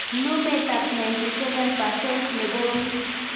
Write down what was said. Lumetab 97% nebo bik